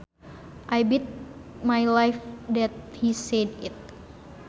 I bet my life that he said it